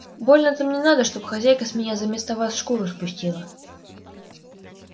больно-то мне надо чтоб хозяйка с меня заместо вас шкуру спустила